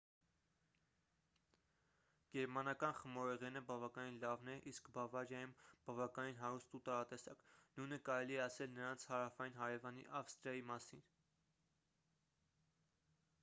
գերմանական խմորեղենը բավականին լավն է իսկ բավարիայում բավականին հարուստ ու տարատեսակ նույնը կարելի է ասել նրանց հարավային հարևանի ավստրիայի մասին